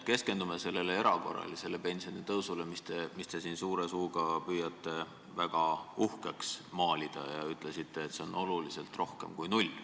Keskendume sellele erakorralisele pensionitõusule, mida te siin suure suuga püüate väga uhkeks maalida, ja ütlesite, et see on oluliselt rohkem kui null.